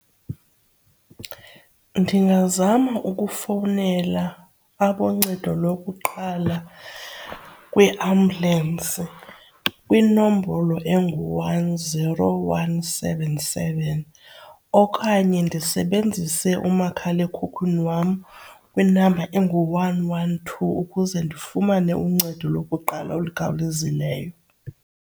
Ndingazama ukufowunela aboncedo lokuqala kwiambulensi kwinombolo engu-one zero one seven seven okanye ndisebenzise umakhala ekhukhwini wam kwinamba engu-one one two ukuze ndifumane uncedo lokuqala olukhawulezileyo.